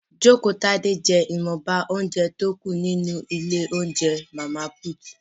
Jokotade jẹ́ ìwọ̀nba óúnjẹ tí ó kù ní ilé óúnjẹ Màmá Put